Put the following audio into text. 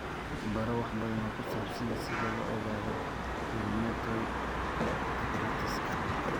Baro wax badan oo ku saabsan sida loo ogaado rheumatoid arthritis-ka.